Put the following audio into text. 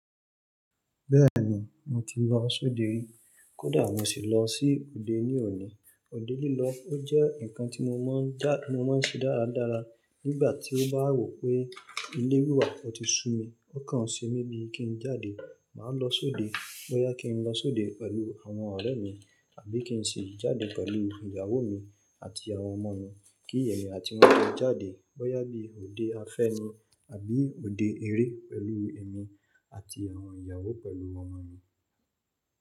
Bẹ́ẹ̀ ni, mo ti lọ sóde rí, kódà mo sì lọ sí òde ní òní. Òde lílọ ó jẹ́ ǹkan tí mo máa ń já-- mo máa ń ṣe dáradára nígbà tí mo bá wò pé ilé wà wà ó ti sú mi, ó kàn ṣe bíi kí n jáde, màá lọ sóde. Bọ́yá kí n lọ sóde pẹ̀lú àwọn ọ̀rẹ́ mi àbí kí n ṣi jáde pẹ̀lú ìyàwó mi àti àwọn ọmọ mi. Kí èmi àti wọ́n tó jáde, bọ́yá bí òde afẹ́ni àbí òde eré pẹ̀lú èmi àti àwọn ìyàwó pẹ̀lú ọmọ mi.